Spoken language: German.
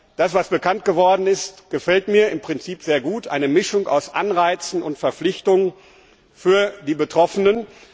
Das, was bekannt geworden ist, gefällt mir im Prinzip sehr gut, eine Mischung aus Anreizen und Verpflichtungen für die Betroffenen.